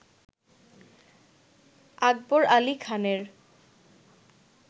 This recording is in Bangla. আকবর আলি খানের